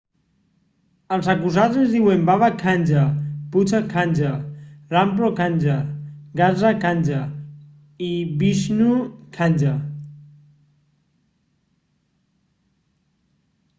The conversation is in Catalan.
els acusats es diuen baba kanjar bhutha kanjar rampro kanjar gaza kanjar i vishnu kanjar